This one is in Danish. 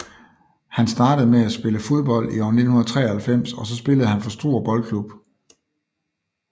Han startede med at spille fodbold i år 1993 og så spillede han for Struer Boldklub